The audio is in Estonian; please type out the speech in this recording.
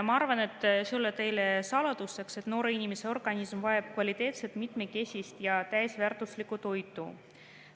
Ma arvan, et see ei ole teile saladuseks, et noore inimese organism vajab kvaliteetset, mitmekesist ja täisväärtuslikku toitu.